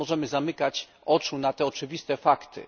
Nie możemy zamykać oczu na te oczywiste fakty.